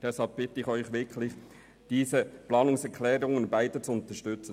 Deshalb bitte ich Sie, beide Planungserklärungen zu unterstützen.